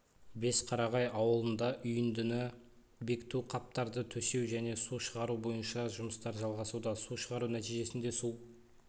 бесқарағай ауылында үйіндіні бекіту қаптарды төсеу және су шығару бойынша жұмыстар жалғасуда су шығару нәтижесінде су